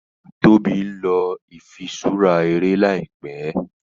Tóbi nlọ ifiṣura eré láìpé.